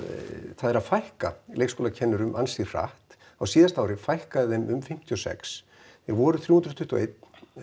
það er að fækka leikskólakennurum ansi hratt á síðasta ári fækkaði þeim um fimmtíu og sex þeir voru þrjú hundruð tuttugu og eitt í